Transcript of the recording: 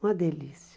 Uma delícia.